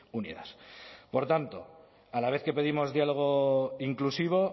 unidas por tanto a la vez que pedimos diálogo inclusivo